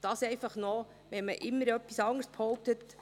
Dies einfach, wenn man immer etwas anderes behauptet.